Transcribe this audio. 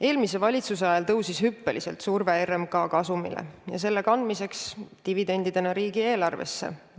Eelmise valitsuse ajal tõusis hüppeliselt surve RMK kasumile ja selle kandmiseks dividendidena riigieelarvesse.